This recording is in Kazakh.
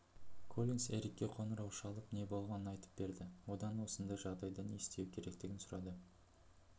коллинс эрикке қоңырау шалып не болғанын айтып берді одан осындай жағдайда не істеу керектігін сұрады